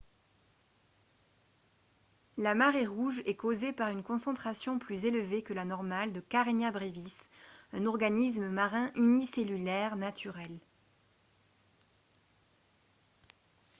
la marée rouge est causée par une concentration plus élevée que la normale de karenia brevis un organisme marin unicellulaire naturel